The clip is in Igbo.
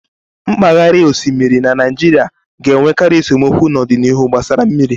Mpaghara osimiri na Naijiria ga-enwekarị esemokwu n'ọdịnihu gbasara mmiri